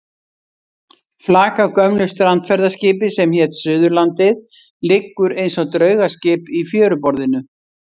Flak af gömlu strandferðaskipi sem hét Suðurlandið liggur eins og draugaskip í fjöruborðinu.